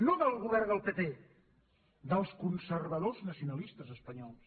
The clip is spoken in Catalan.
no del govern del pp dels conservadors nacionalistes espanyols